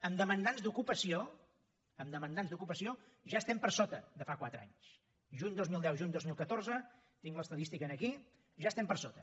en demandants d’ocupació en demandants d’ocupació ja estem per sota de fa quatre anys juny dos mil deu juny dos mil catorze tinc l’estadística aquí ja estem per sota